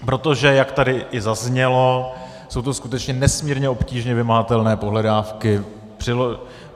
Protože jak tady i zaznělo, jsou to skutečně nesmírně obtížně vymahatelné pohledávky.